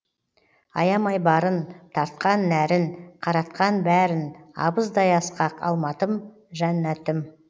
аямай барын тартқан нәрін қаратқан бәрін абыздай асқақ алматым жәннатым